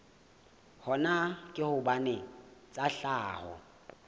hona ke hobane tsa tlhaho